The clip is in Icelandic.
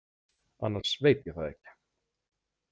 Annars veit ég það ekki.